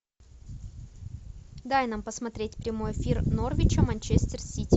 дай нам посмотреть прямой эфир норвича манчестер сити